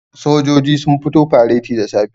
sojoji sun fito fareti da safe